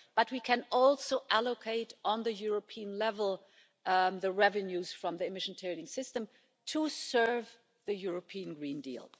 But we can also allocate at European level the revenues from the emission trading system to serve the European Green Deal.